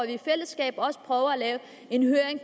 i fællesskab også prøver at lave en høring